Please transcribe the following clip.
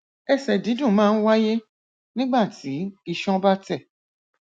ẹsẹ dídùn máa ń wáyé nígbà tí iṣan bá tẹ